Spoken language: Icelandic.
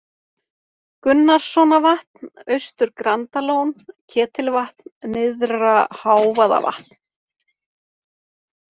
Gunnarssonavatn, Austur-Grandalón, Ketilvatn, Nyrðra-Hávaðavatn